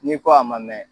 N'i ko a ma mɛn